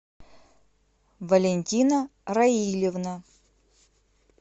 валентина раильевна